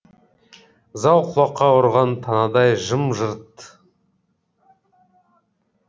зал құлаққа ұрған танадай жым жырт